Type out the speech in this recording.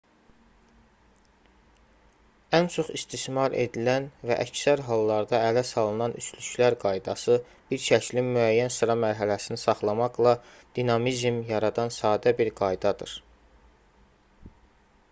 ən çox istismar edilən və əksər hallarda ələ salınan üçlüklər qaydası bir şəklin müəyyən sıra mərhələsini saxlamaqla dinamizm yaradan sadə bir qaydadır